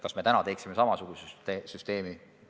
Kas me täna teeksime samasuguse süsteemi?